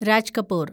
Raj Kapoor